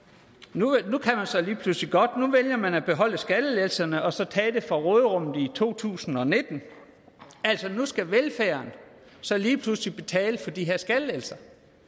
nu kan man så lige pludselig godt nu vælger man at beholde skattelettelserne og så tage det fra råderummet i to tusind og nitten altså nu skal velfærden så lige pludselig betale for de her skattelettelser